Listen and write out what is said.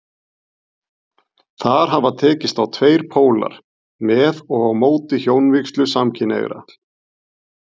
Þar hafa tekist á tveir pólar, með og á móti hjónavígslu samkynhneigðra.